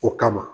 O kama